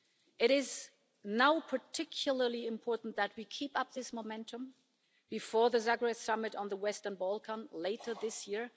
It is now particularly important that we keep up this momentum before the Zagreb Summit on the Western Balkans later this year.